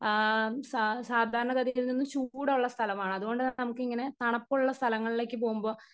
Speaker 1 ആം സ സാധാരണ ഗതിയിൽ നിന്നും ചൂടൊള്ള സ്ഥലമാണ് അതുകൊണ്ട് നമുക്ക് ഇങ്ങനെ തണുപൊള്ള സ്ഥലങ്ങളിലേക്ക് പോകുമ്പോ.